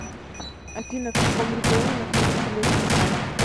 афина в каком регионе находится летний сад